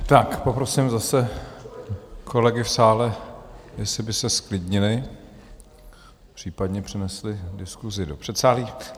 Tak poprosím zase kolegy v sále, jestli by se zklidnili, případně přenesli diskusi do předsálí.